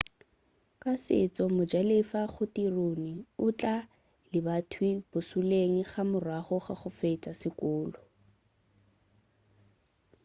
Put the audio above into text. ka setšo mojalefa go tirone o tla lebathwii bošoleng ka morago ga go fetša sekolo